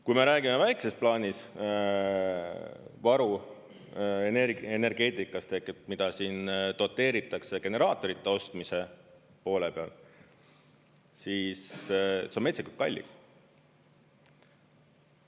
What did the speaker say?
Kui me räägime väikesest plaanist, varu energeetikas tekib, mida siin doteeritakse generaatorite ostmise poole peal, siis see on metsikult kallis.